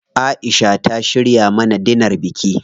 Aisha ta shirya mana dinar biki.